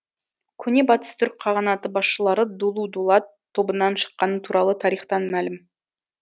көне батыс түрік қағанаты басшылары дулу дулат тобынан шыққаны туралы тарихтан мәлім